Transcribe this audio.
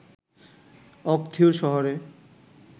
অকথিয়ুর শহরের